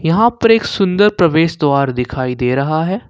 यहां पर एक सुंदर प्रवेश द्वार दिखाई दे रहा है।